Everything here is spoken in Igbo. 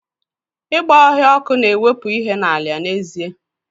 Bush na-ere ọkụ bụ n'ezie na-ewepụ ala nri.